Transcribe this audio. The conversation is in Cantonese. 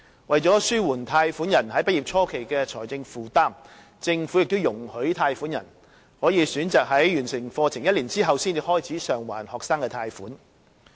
為了紓緩貸款人畢業初期的財政負擔，政府亦已容許貸款人可選擇在完成課程1年後才開始償還學生貸款。